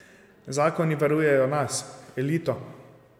Zakoni varujejo nas, elito.